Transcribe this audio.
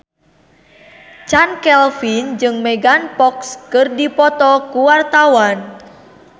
Chand Kelvin jeung Megan Fox keur dipoto ku wartawan